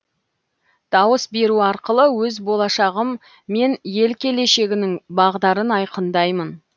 дауыс беру арқылы өз болашағым мен ел келешегінің бағдарын айқындаймын